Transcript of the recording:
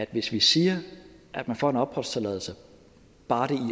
hvis vi siger at man får en opholdstilladelse bare det